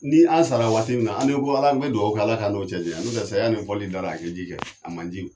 Ni an sara waati min na an di ko Ale n bɛ dugawu kɛ, Ala ka n'o cɛ janya n'o tɛ saya ni fɔli da la kɛ ji kɛ a man ji.